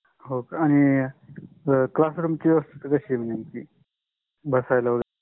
होका आणि class room चि व्यवस्था काशी आहे बसायला?